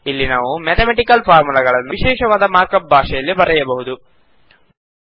ಇಲ್ಲಿ ನಾವು ಮ್ಯಾತಮೆಟಿಕಲ್ ಫಾರ್ಮುಲಾಗಳನ್ನು ವಿಶೇಷವಾದ ಮಾರ್ಕ್ ಅಪ್ ಭಾಷೆಯಲ್ಲಿ ಬರೆಯಬಹುದು